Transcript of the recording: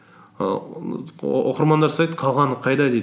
ііі оқырмандар сұрайды қалғаны қайда дейді